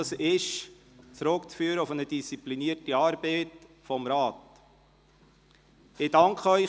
Das ist auf die disziplinierte Arbeit des Rates zurückzuführen.